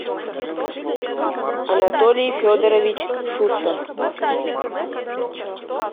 анатолий федорович шустов